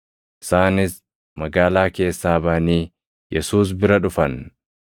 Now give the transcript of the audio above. Isaanis magaalaa keessaa baʼanii Yesuus bira dhufan.